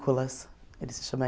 Ele se chama